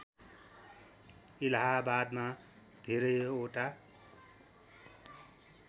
इलाहाबादमा धेरैवटा